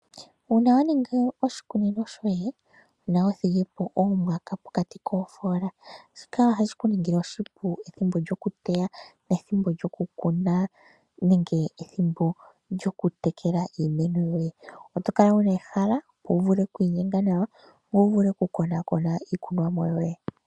Uuna wa ningi oshikunino shoye nowa thigi po oomwaka pokati koofoola, shika ohashi ku ningile oshipu ethimbo lyoku teya nethimbo lyoku kuna nenge ethimbo lyoku tekela iimeno yoye. Oto kala wuna ehala opo wu vule okwiinyenga nawa ngoye wu vule oku konaakona iikunomwa yoye.